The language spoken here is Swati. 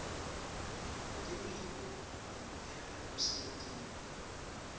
wetemphilo nekuphepha emsebentini